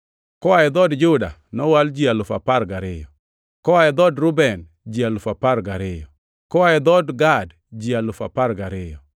Koa e dhood Juda nowal ji alufu apar gariyo (12,000), koa e dhood Reuben ji alufu apar gariyo (12,000), Koa e dhood Gad ji alufu apar gariyo (12,000),